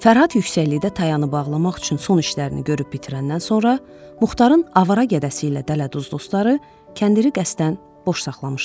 Fərhad yüksəklikdə tayanı bağlamaq üçün son işlərini görüb bitirəndən sonra, Muxtarın avara gədəsiylə dələduz dostları kəndiri qəsdən boş saxlamışdılar.